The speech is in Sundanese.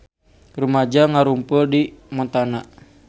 Rumaja ngarumpul di Montana